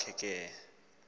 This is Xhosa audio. kwa khe apho